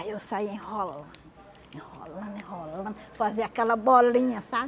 Aí eu saía enrolando, enrolando, enrolando, fazia aquela bolinha, sabe?